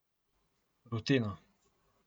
Rutino.